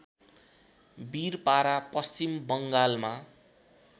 बिरपारा पश्चिम बङ्गालमा